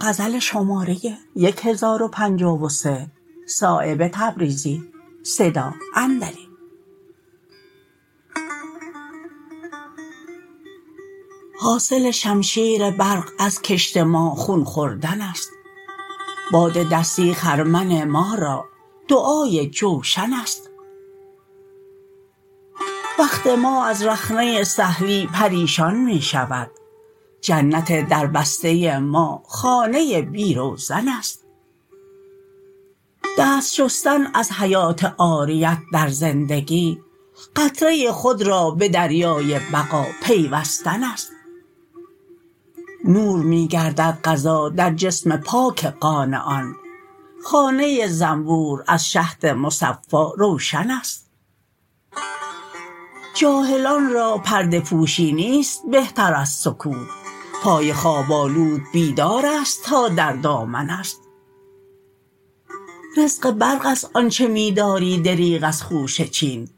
حاصل شمشیر برق از کشت ما خون خوردن است باد دستی خرمن ما را دعای جوشن است وقت ما از رخنه سهلی پریشان می شود جنت در بسته ما خانه بی روزن است دست شستن از حیات عاریت در زندگی قطره خود را به دریای بقا پیوستن است نور می گردد غذا در جسم پاک قانعان خانه زنبور از شهد مصفا روشن است جاهلان را پرده پوشی نیست بهتر از سکوت پای خواب آلود بیدارست تا در دامن است رزق برق است آنچه می داری دریغ از خوشه چین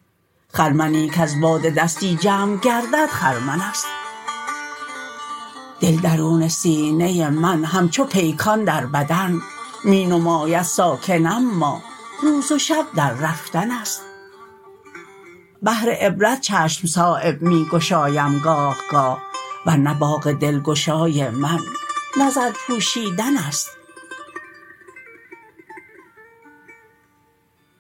خرمنی کز باد دستی جمع گردد خرمن است دل درون سینه من همچو پیکان در بدن می نماید ساکن اما روز و شب در رفتن است بهر عبرت چشم صایب می گشایم گاه گاه ورنه باغ دلگشای من نظر پوشیدن است